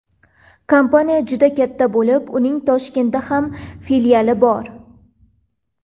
Kompaniya juda katta bo‘lib, uning Toshkentda ham filiali bor.